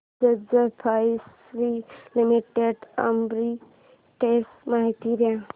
Bajaj Finserv limited arbitrage माहिती दे